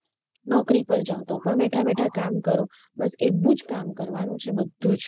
નોકરી પર જાઓ તો પણ બેઠા-બેઠા કામ કરો બસ એવુ જ કામ કરવાનું છે બધુ જ.